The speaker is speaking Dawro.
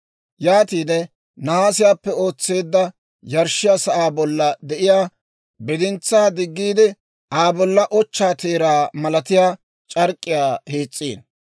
«Yaatiide nahaasiyaappe ootseedda yarshshiyaa sa'aa bolla de'iyaa bidintsaa diggiide Aa bolla ochchaa teeraa malatiyaa c'ark'k'iyaa hiis's'ino.